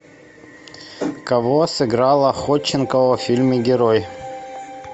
кого сыграла ходченкова в фильме герой